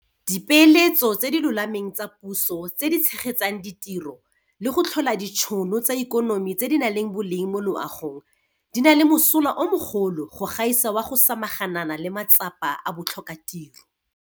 Dipeeletso tse di lolameng tsa puso tse di tshegetsang ditiro le go tlhola ditšhono tsa ikonomi tse di nang le boleng mo loagong di na le mosola o mogolo go gaisa wa go samaganana le matsapa a botlhokatiro.